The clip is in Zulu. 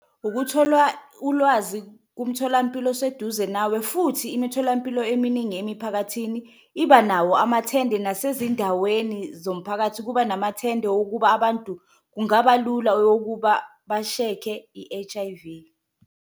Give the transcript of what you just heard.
Ukutholwa ulwazi kumtholampilo oseduze nawe futhi imitholampilo eminingi emiphakathini iba nawo amathende, nasezindaweni zomphakathi kuba namathende wokuba abantu kungaba lula bashekhe i-H_I_V.